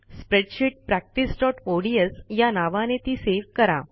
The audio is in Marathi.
स्प्रेडशीट practiceओडीएस या नावाने ती सेव्ह करा